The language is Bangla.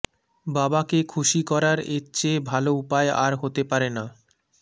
বাবাকে খুশি করার এর চেয়ে ভাল উপায় আর হতে পারে না